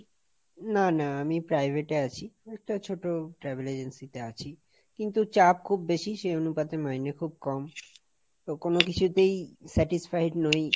না না আমি privateএ আছি, একটা ছোট Travel agency তে আছি, কিন্তু চাপ খুব বেশি, সেই অনুপাতে মাইনে খুব কম, কোনো কিছুতেই satisfied নই।